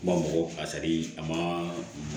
B'a fɔ ko a ma